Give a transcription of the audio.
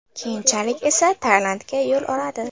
Keyinchalik esa Tailandga yo‘l oladi.